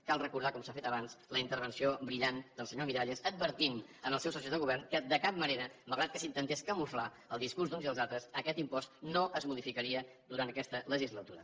cal recordar com s’ha fet abans la intervenció brillant del senyor miralles advertint els seus socis de govern que de cap manera malgrat que s’intentés camuflar el discurs d’uns i els altres aquest impost no es modificaria durant aquesta legislatura